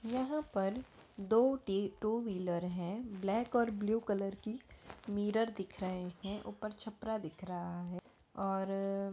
यहाँ पर दो टी टू व्हीलर हैं ब्लैक और ब्लू कलर की मिरर दिख रहे हैं ऊपर छपरा दिख रहा है और---